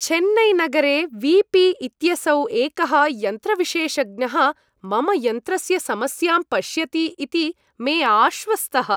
चेन्नैनगरे V P इत्यसौ एकः यन्त्रविशेषज्ञः मम यन्त्रस्य समस्यां पश्यति इति मे आश्वस्तः।